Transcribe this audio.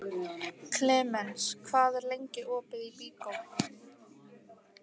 Klemens, hvað er lengi opið í Byko?